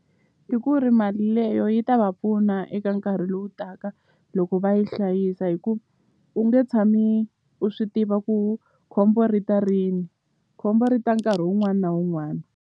I ku ri mali leyo yi ta va pfuna eka nkarhi lowu taka loko va yi hlayisa hi ku u nge tshami u swi tiva ku khombo ri ta rini khombo ri ta nkarhi wun'wana na wun'wana.